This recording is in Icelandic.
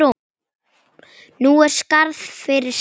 Nú er skarð fyrir skildi.